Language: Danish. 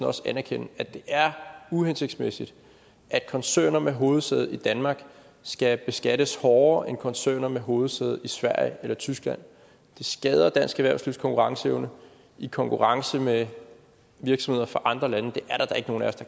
også anerkende at det er uhensigtsmæssigt at koncerner med hovedsæde i danmark skal beskattes hårdere end koncerner med hovedsæde i sverige eller tyskland det skader dansk erhvervslivs konkurrenceevne i konkurrence med virksomheder fra andre lande det er der da ikke nogen af